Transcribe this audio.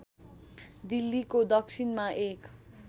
दिल्लीको दक्षिणमा एक